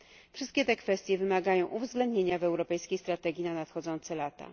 Wszystkie te kwestie wymagają uwzględnienia w europejskiej strategii na nadchodzące lata.